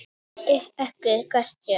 Það er ekki gert hér.